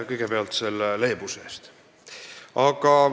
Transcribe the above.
Kõigepealt aitäh selle leebuse eest!